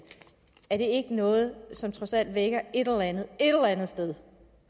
er det ikke noget som trods alt vækker et eller andet et eller andet sted